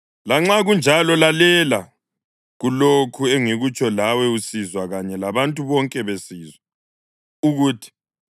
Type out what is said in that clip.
Lanxa kunjalo, lalela kulokhu engikutsho lawe usizwa kanye labantu bonke besizwa ukuthi: